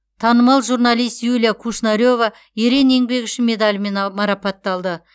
танымал журналист юлия кушнарева ерен еңбегі үшін медалімен а марапатталды